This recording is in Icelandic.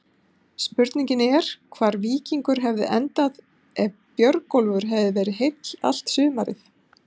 Spurning er hvar Víkingur hefði endað ef Björgólfur hefði verið heill allt sumarið?